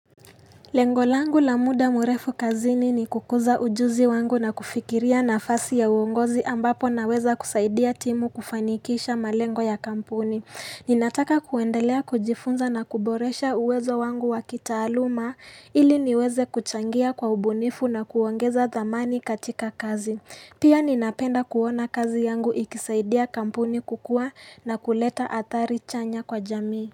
Lengo langu la muda mrefu kazini ni kukuza ujuzi wangu na kufikiria nafasi ya uongozi ambapo naweza kusaidia timu kufanikisha malengo ya kampuni. Ninataka kuendelea kujifunza na kuboresha uwezo wangu wa kitaaluma ili niweze kuchangia kwa ubunifu na kuongeza dhamani katika kazi. Pia ninapenda kuona kazi yangu ikisaidia kampuni kukua na kuleta athari chanya kwa jamii.